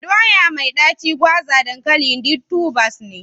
Doya mai ɗaci, gwaza, dankali duk tubers ne.